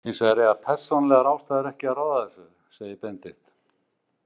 Hins vegar eiga persónulegar ástæður ekki að ráða þessu, segir Benedikt.